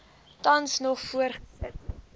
tans nog voortgesit